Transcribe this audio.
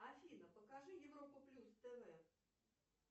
афина покажи европу плюс тв